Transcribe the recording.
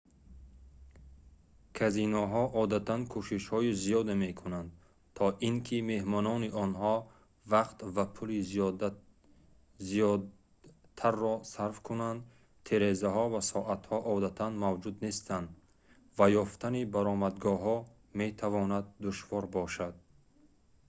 казиноҳо одатан кӯшишҳои зиёде мекунанд то ин ки меҳмонони онҳо вақт ва пули зиёдтарро сарф кунанд тирезаҳо ва соатҳо одатан мавҷуд нестанд ва ёфтани баромадгоҳҳо метавонад душвор бошад